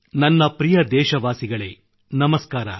ನನ್ನ ಪ್ರಿಯ ದೇಶವಾಸಿಗಳೇ ನಮಸ್ಕಾರ